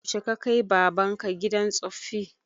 Yaushe ka kai baban ka gidan tsoffi?